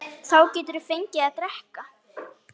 Hún átti sitt líf sjálf.